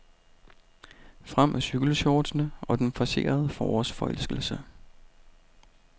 Frem med cykelshortsene og den forcerede forårsforelskelse.